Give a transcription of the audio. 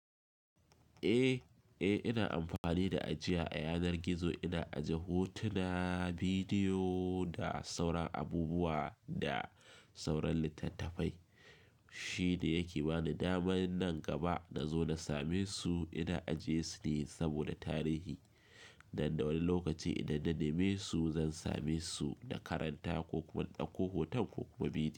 Eh, eh ina amfani da ajiya a yanar gizo ina aje hotuna, bidiyo da sauran abubuwa da sauran littattafai. Shi ne yake bani damar nan gaba nazo na same su ina aje su ne saboda tarihi. Nan da wani lokaci idan na neme su zan same su na karanta ko kuma in ɗauko hoton ko kuma bidiyo.